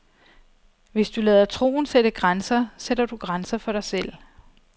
Hvis du lader troen sætte grænser, sætter du grænser for dig selv.